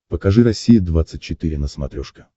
покажи россия двадцать четыре на смотрешке